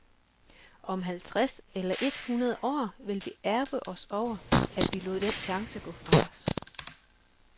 Om halvtreds eller et hundrede år vil vi ærgre os over, at vi lod den chance gå fra os.